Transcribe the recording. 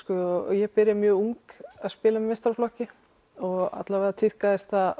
ég byrja mjög ung að spila með meistaraflokki og allavega þá tíðkaðist það